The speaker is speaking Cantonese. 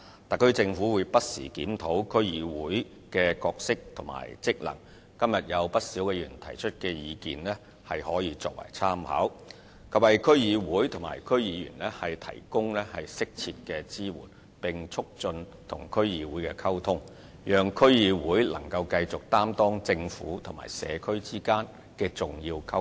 特區政府會不時檢討區議會的角色和職能，今日有不少議員提出的意見可以作為參考，以及為區議會及區議員提供適切支援，並促進與區議會的溝通，讓區議會繼續擔當政府與社區之間的重要溝通橋樑。